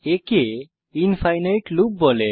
একে infinite loop বলে